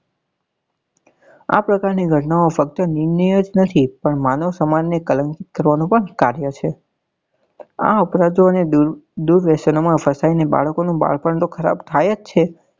આ પ્રકાર ની ઘટના ઓ ફક્ત નીરનાયી જ નથી પણ માનવ સમાજ ને કલંક કરવા નું પણ કાર્ય છે આ અપરાધો ને દુર્દર્શનો માં ફસાઈ ને બાળકો નું બાળપણ તો ખરાબ થાય જ છે